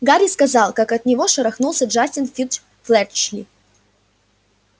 гарри рассказал как от него шарахнулся джастин финч-флетчли